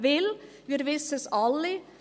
Denn wir wissen es alle: